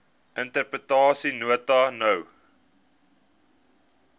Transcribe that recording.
interpretation note no